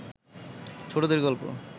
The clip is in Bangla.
ছোটদের গল্প